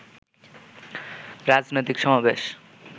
রাজনৈতিক সমাবেশ